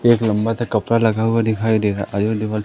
एक लंबा सा कपड़ा लगा हुआ दिखाई दे रहा आयो दीवाल --